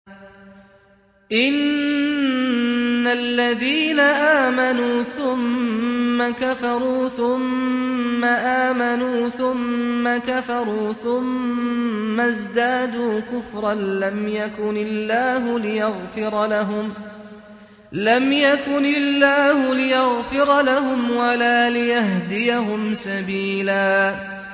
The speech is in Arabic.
إِنَّ الَّذِينَ آمَنُوا ثُمَّ كَفَرُوا ثُمَّ آمَنُوا ثُمَّ كَفَرُوا ثُمَّ ازْدَادُوا كُفْرًا لَّمْ يَكُنِ اللَّهُ لِيَغْفِرَ لَهُمْ وَلَا لِيَهْدِيَهُمْ سَبِيلًا